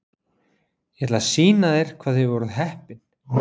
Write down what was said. Ég ætla að sýna þér hvað þið voruð heppin.